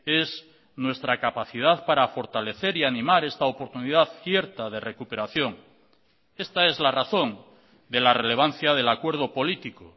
es nuestra capacidad para fortalecer y animar esta oportunidad cierta de recuperación esta es la razón de la relevancia del acuerdo político